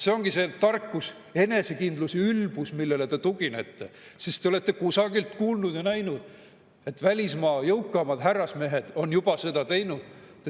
See ongi see tarkus, enesekindlus, ülbus, millele te tuginete, sest te olete kusagil kuulnud ja näinud, et välismaa jõukamad härrasmehed on seda juba teinud.